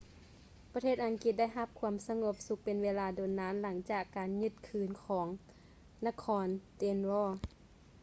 ປະເທດອັງກິດໄດ້ຮັບຄວາມສະຫງົບສຸກເປັນເວລາດົນນານ ຫຼັງຈາກການຍຶດຄືນຂອງນະຄອນ ເດນລໍ danelaw